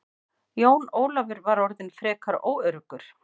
Jón Ólafur var orðinn frekar óöruggur.